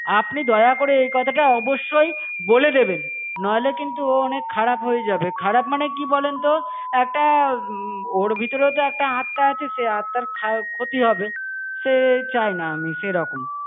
আপনি দয়া করে এই কথাটা অবশ্যই বলে দেবেন নইলে কিন্তু অনেক খারাপ হয়ে যাবে, খারাপ মানে কি বলেন তো একটা ওর ভিতরেও তো একটা আত্মা আছে সে আত্মার খা~ ক্ষতি হবে সে চাই না আমি সেইরকম